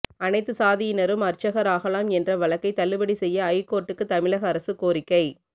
அனைத்து சாதியினரும் அர்ச்சகர் ஆகலாம் என்ற வழக்கை தள்ளுபடி செய்ய ஐகோர்ட்டுக்கு தமிழக அரசு கோரிக்கை